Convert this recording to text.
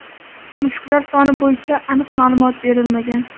Mushuklar soni bo‘yicha aniq ma’lumot berilmagan.